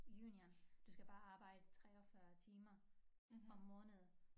Union du skal bare arbejde 43 timer om måneden